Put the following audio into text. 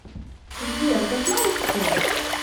сбер да знаешь что